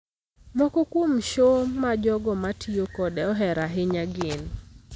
Moko kuom show ma jogo ma tiyo kode ohero ahinya gin;